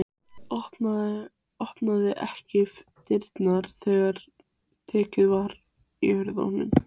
Opnaði ekki dyrnar þegar tekið var í hurðarhúninn.